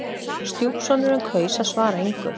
Stjúpsonurinn kaus að svara engu.